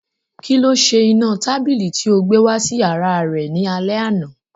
Kíló se iná tábìlì tí o gbé wá sí yàrá rẹ ní alẹ́ àná